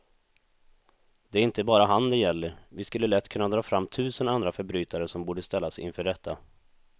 Det är inte bara han det gäller, vi skulle lätt kunna dra fram tusen andra förbrytare som borde ställas inför rätta.